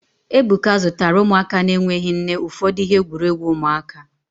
Ebuka zụtara ụmụaka na-enweghị nne ụfọdụ ihe egwuregwu ụmụaka